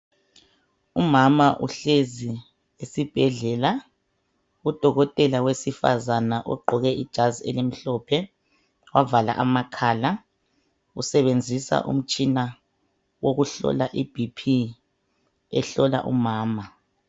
Umama uhlezi esibhedlela , udokotela wesifazana ogqoke ijazi elimhlophe wavala amakhala usebenzisa umtshina wokuhlola i bhiphi ,ehlola umama.